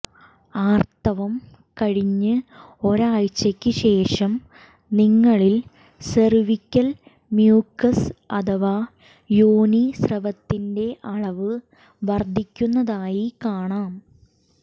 ആർത്തവം കഴിഞ്ഞ് ഒരാഴ്ചക്ക് ശേഷം നിങ്ങളിൽ സെർവ്വിക്കൽ മ്യൂക്കസ് അഥവാ യോനീ സ്രവത്തിന്റെ അളവ് വർദ്ധിക്കുന്നതായി കാണാം